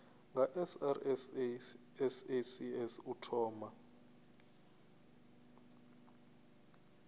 nga srsa sasc u thoma